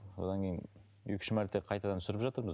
содан кейін екі үш мәрте қайтадан түсіріп жатырмыз